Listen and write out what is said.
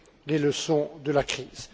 les leçons de la crise.